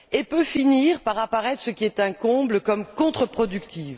Cela peut finir par apparaître ce qui est un comble contre productif.